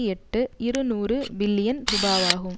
எட்டு இருநூறு பில்லியன் ரூபாவாகும்